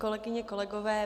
Kolegyně, kolegové.